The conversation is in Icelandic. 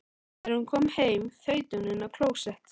Þegar hún kom heim þaut hún inn á klósett.